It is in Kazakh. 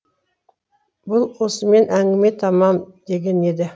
бұл осымен әңгіме тамам дегені еді